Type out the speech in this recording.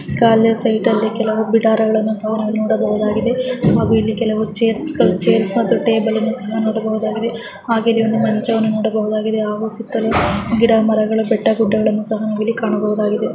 ಖಾಲಿ ಸೈಟ್ ಅಲ್ಲಿ ಕೆಲವು ಬಿಡಾರಗಳನ್ನುಸಹ ನಾವಿಲ್ಲಿ ನೋಡಬಹುದಾಗಿದೆ ಹಾಗು ಇಲ್ಲಿ ಕೆಲವು ಚೇರ್ಸ್ಗಳು ಚೇರ್ಸ್ಗಳು ಮತ್ತು ಟೇಬಲ್ ಅನ್ನು ಸಹ ನೋಡಬಹುದಾಗಿದೆ ಹಾಗೆ ಇಲ್ಲಿ ಮಂಚವನ್ನು ನೋಡಬಹುದಾಗಿದೆ. ಗಿಡ ಮರಗಳು ಬೆಟ್ಟ ಗುಡ್ಡಗಳನ್ನು ಸಹ ನಾವಿಲ್ಲಿ ನೋಡಬಹುದಾಗಿದೆ.